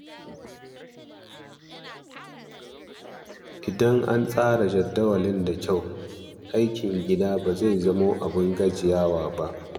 Idan an tsara jadawalin da kyau, aikin gida ba zai zama abin gajiya ba.